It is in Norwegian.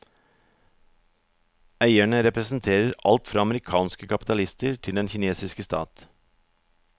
Eierne representerer alt fra amerikanske kapitalister til den kinesiske stat.